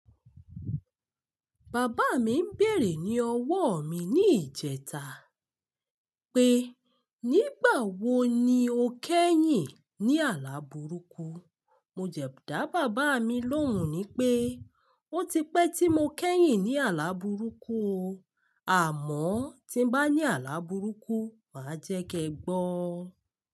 Bàbá mi ń bèrè ní ọwọ́ mi ní ìjẹta pé, "Nígbà wo ni o kẹ́yìn ní àlá burúkú?" Mo jẹ dá bàbá mi lóhùn pé, "Ó ti pẹ́ tí mo kẹ́yìn ní àlá burúkú o. Àmọ́ tí n bá ní àlá burúkú, màá jẹ́ kẹ gbọ́."